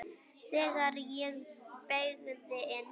Þegar ég beygði inn